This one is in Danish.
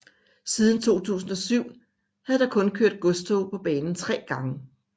Siden 2007 havde der kun kørt godstog på banen 3 gange